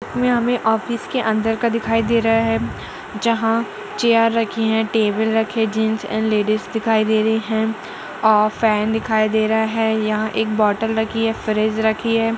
इसमें हमे ऑफिस के अंदर का दिखाई दे रहा है जहा चेयर राखी है टेबल रखे है जेंट्स एंड लेडिस दिखाई दे रही है फेन देखाई दे रहा है यहाँ एक बोटल रखी है फ्रिज रखी है।